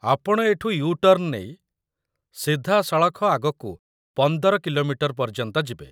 ଆପଣ ଏଠୁ ୟୁ-ଟର୍ଣ୍ଣ୍‌ ନେଇ ସିଧାସଳଖ ଆଗକୁ ୧୫ କି.ମି. ପର୍ଯ୍ୟନ୍ତ ଯିବେ ।